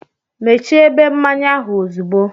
Mechie ebe mmanya ahụ ozugbo!